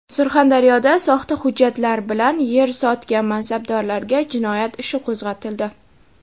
Surxondaryoda soxta hujjatlar bilan yer "sotgan" mansabdorlarga jinoyat ishi qo‘zg‘atildi.